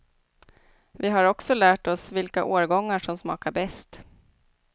Vi har också lärt oss vilka årgångar som smakar bäst.